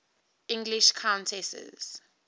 english countesses